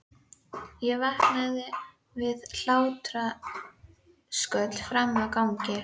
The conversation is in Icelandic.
Ég vaknaði við hlátrasköll frammi á ganginum.